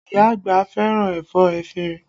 Iya àgbà fẹ́ràn ẹ̀fọ́ efinrin